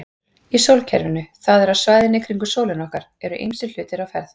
Í sólkerfinu, það er á svæðinu kringum sólina okkar, eru ýmsir hlutir á ferð.